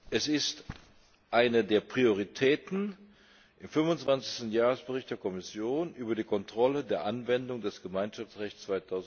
Es ist eine der Prioritäten des 25. Jahresberichts der Kommission über die Kontrolle der Anwendung des Gemeinschaftsrechts